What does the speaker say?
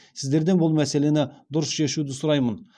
сіздерден бұл мәселені дұрыс шешуді сұраймын